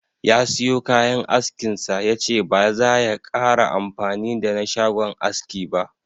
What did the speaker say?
Ya siyo kayan askin sa, yace ba zaya kara amfani da na shagon aski ba.